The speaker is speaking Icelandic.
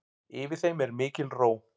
Yfir þeim er mikil ró.